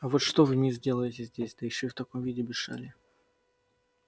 а вот что вы мисс делаете здесь да ещё в таком виде без шали